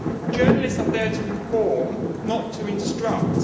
Journalists are there to inform, not to instruct.